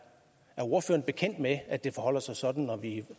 ordføreren bekendt med at det forholder sig sådan når vi